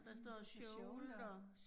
Hm shoulder